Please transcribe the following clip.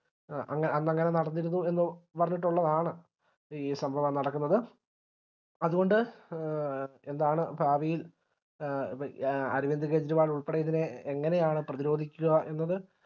ആ അന്നങ്ങനെ നടന്നിരുന്നു എന്ന് പറഞ്ഞിട്ടുള്ളതാണ് ഈ സംഭവം നടക്കുന്നത് അത് കൊണ്ട് എന്താണ് ഭാവിയിൽ എ അ അരവിന്ദ് കേജരിവാളുൾപ്പെടെ ഇതിനെ എങ്ങനെയാണ് പ്രതിരോധിക്കുക എന്നത്